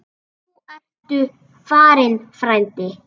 Nú ertu farinn, frændi.